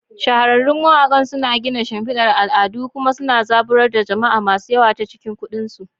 Shahararrun mawakan suna gina shimfidar al'adu kuma suna zaburar da jama'a masu yawa ta cikin kundin su.